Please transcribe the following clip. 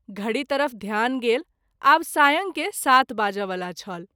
धड़ी तरफ ध्यान गेल, आब सायं के सात बाजय वला छल।